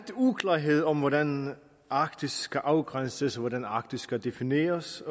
uklarhed om hvordan arktis skal afgrænses og hvordan arktis skal defineres